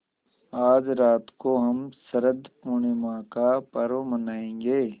आज रात को हम शरत पूर्णिमा का पर्व मनाएँगे